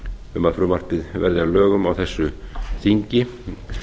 um að frumvarpið verði að lögum á þessu þingi